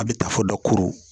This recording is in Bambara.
A bɛ taa fo dakoro